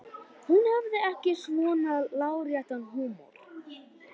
Hún hafði ekki svona láréttan húmor.